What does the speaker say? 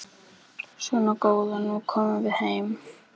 Svona góða, nú komum við heim.